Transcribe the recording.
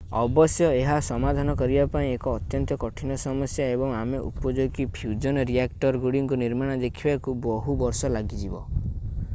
ଅବଶ୍ୟ ଏହା ସମାଧାନ କରିବା ପାଇଁ ଏକ ଅତ୍ୟନ୍ତ କଠିନ ସମସ୍ୟା ଏବଂ ଆମେ ଉପଯୋଗୀ ଫ୍ୟୁଜନ୍ ରିଆକ୍ଟରଗୁଡ଼ିକ ନିର୍ମାଣ ଦେଖିବାକୁ ବହୁ ବର୍ଷ ଲାଗିଯିବ